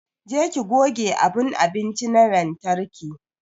Je ki goge abun abinci na lantarki!